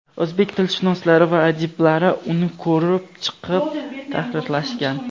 O‘zbek tilshunoslari va adiblar uni ko‘rib chiqib, tahrirlashgan.